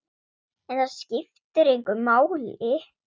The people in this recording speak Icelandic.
En það skiptir engu máli.